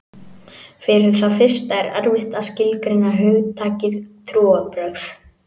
Fyrir það fyrsta er erfitt að skilgreina hugtakið trúarbrögð.